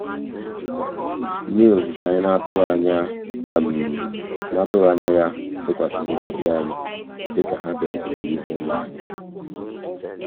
mmiri ozuzo anyị n'atụghị anyị n'atụghị anya ya zokwasịrị ndị ọbịa anyị dịka ha bịarutere n'ihu ụlọ anyị.